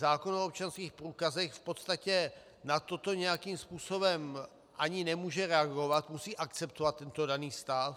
Zákon o občanských průkazech v podstatě na toto nějakým způsobem ani nemůže reagovat, musí akceptovat tento daný stav.